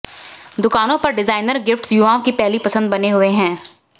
दुकानों पर designer gifts युवाओं की पहली पसंद बने हुए हैं